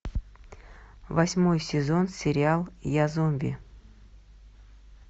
восьмой сезон сериал я зомби